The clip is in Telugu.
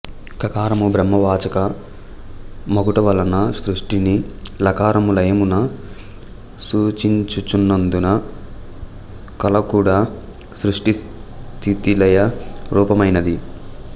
క కారము బ్రహ్మ వాచక మగుటవలన సృష్టిని ల కారము లయమును సూచించుచున్నందున కళకూడా సృష్టి స్థితి లయ రూపమైనది